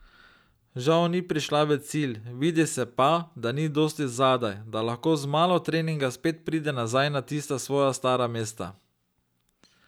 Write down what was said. Žal ni prišla v cilj, vidi se pa, da ni dosti zadaj, da lahko z malo treninga spet pride nazaj na tista svoja stara mesta.